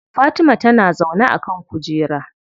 Fatima tana zaune a kan kujera.